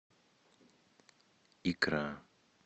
икра